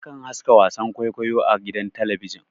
Akan haska wasan kwaikwayo a gidan talabijin